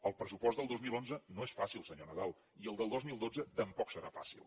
el pressupost del dos mil onze no és fàcil senyor nadal i el del dos mil dotze tampoc serà fàcil